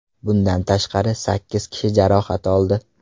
Bundan tashqari, sakkiz kishi jarohat oldi.